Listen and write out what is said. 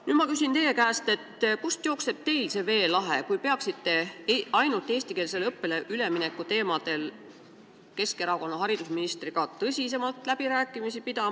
Nüüd ma küsin teie käest, kust jookseb teil see veelahe, kui te peaksite ainult eestikeelsele õppele ülemineku teemadel Keskerakonna haridusministriga tõsisemalt läbirääkimisi?